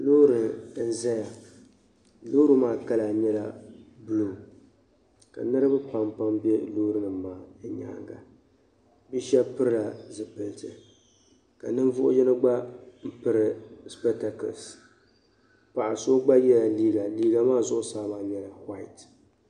Loori n zaya loori maa kala nyɛla buluu ka niriba pam pam be loori nim di nyaaga bɛ shɛb pilila zipiliti ka ninvuɣi yino gba biri sipekitakels paɣa so gba ye liiga liiga maa zuɣu saa nyɛla wuhait